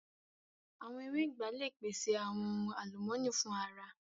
Awọn ewé ìgbá le pèṣè awọn ohun alumọni fun ara